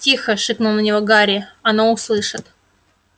тихо шикнул на него гарри оно услышит